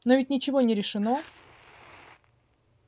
но ведь ничего не решено